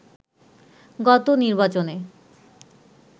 গত নির্বাচনে